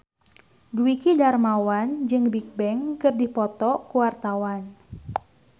Dwiki Darmawan jeung Bigbang keur dipoto ku wartawan